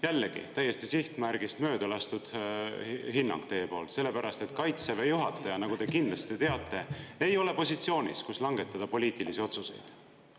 Jällegi, täiesti sihtmärgist mööda lastud hinnang teie poolt, sellepärast et kaitseväe juhataja, nagu te kindlasti teate, ei ole positsioonis, kus langetada poliitilisi otsuseid.